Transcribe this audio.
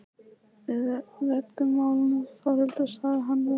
Við reddum málunum Þórhildur, sagði hann við hana.